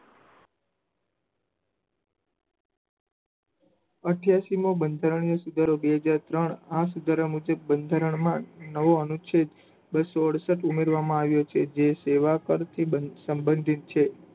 અઠ્યાસી મો બંધારીય સુધારો બે હજાર ત્રણ આ સુધારા મુજબ બંધારણમાં અનુજ છે બસો અડસઠ ઉમેરવામાં આવ્યો છે જેથી તેવા કર થી બચવા સંબંધિત છે